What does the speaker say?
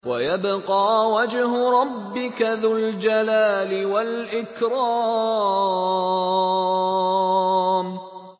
وَيَبْقَىٰ وَجْهُ رَبِّكَ ذُو الْجَلَالِ وَالْإِكْرَامِ